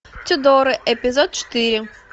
тюдоры эпизод четыре